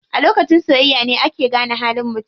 A lokacin soyayya ne ake gane halin mutum.